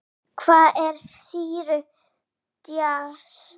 Hvað er sýru djass?